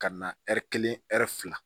Ka na ɛri kelen fila